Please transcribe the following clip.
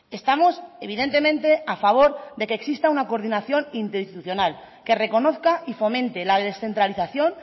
estamos evidentemente a favor de que exista una coordinación interinstitucional que reconozca y fomente la descentralización